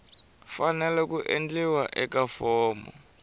fanele ku endliwa eka fomo